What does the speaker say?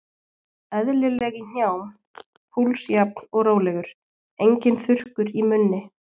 Eðlileg í hnjám, púls jafn og rólegur, enginn þurrkur í munni.